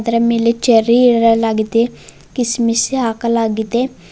ಇದರ ಮೇಲೆ ಚೇರ್ರಿ ಇರಲಾಗಿದೆ ಕಿಸ್ಸಮಿಸಿ ಹಾಕಲಾಗಿದೆ.